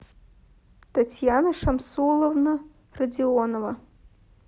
татьяна шамсуловна родионова